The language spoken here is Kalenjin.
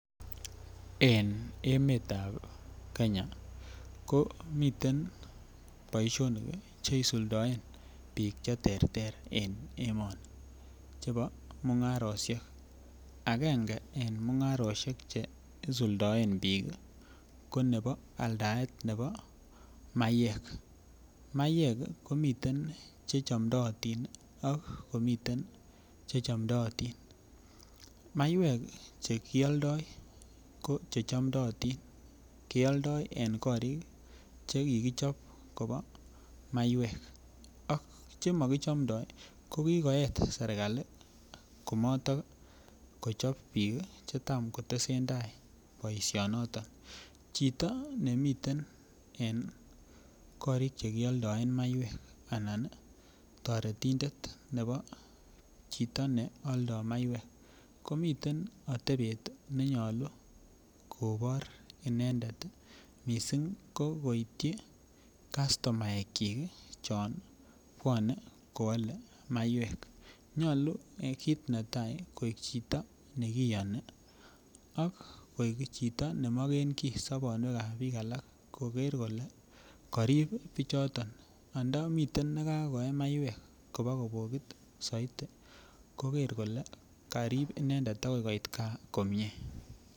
En emetab Kenya ko miten boishonik cheisuldoen bik cheterter en emoni chebo mungaroshek agenge en mungaroshek cheisuldoen bik ko aldaetab nebo maiyek. Mayek komiten che chomdotin ak komiten che chomdotin. Maiwek chekioldo ko chechomdotin keoldo en korik chekikichob Kobo maiwek ak chemo kichoptoo ko kokoyet sirkali komotoo kochop bik kii chetam kotesetai boishoniton, chito nemiten en korik chekioldoen maiwek anan toretindet nebo chito neoldo maiwek komiten itebet nenyolu kobor inendet missing ko koityi kastomaek chik chon bwone koole maiwek. Nyolu ko kit netai koik chito nekiyoni ak koik chito nemogenkii sobonwekab bik alak kokere kole korib bichoton ngandan miten nekakoye maiwek kobakobokit koker ole korib inendet akoi koitgaa komie.